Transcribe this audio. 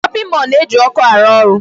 Shopping mall na-eji ọkụ arụ ọrụ.